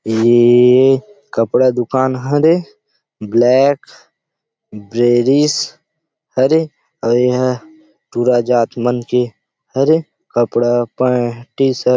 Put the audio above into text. ये कपडा दूकान हरे ब्लैक ग्रीस हरे अउ इहां टूरा जात मन के हवे कपड़ा पहन के टी-शर्ट --